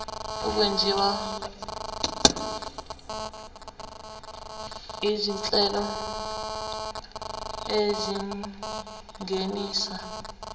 okwenziwa izinhlelo ezingenisa